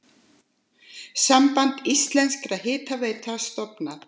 Samband íslenskra hitaveitna stofnað.